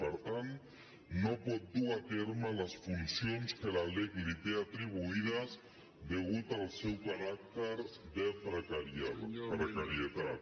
per tant no pot dur a terme les funcions que la lec li té atribuïdes a causa del seu caràcter de precarietat